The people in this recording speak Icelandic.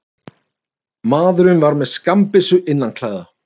Maðurinn var með skammbyssu innanklæða